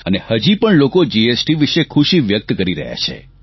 અને હજી પણ લોકો જીએસટી વિષે ખુશી વ્યક્ત કરી રહ્યા છે